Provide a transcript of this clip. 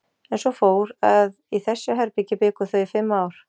En svo fór, að í þessu herbergi bjuggu þau í fimm ár.